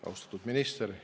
Austatud minister!